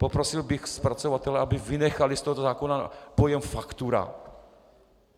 Poprosil bych zpracovatele, aby vynechali z tohoto zákona pojem faktura.